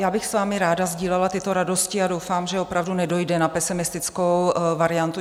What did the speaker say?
Já bych s vámi ráda sdílela tyto radosti a doufám, že opravdu nedojde na pesimistickou variantu.